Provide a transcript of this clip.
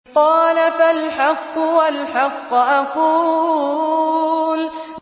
قَالَ فَالْحَقُّ وَالْحَقَّ أَقُولُ